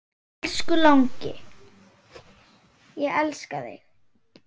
Elsku langi, ég elska þig.